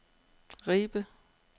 Ribe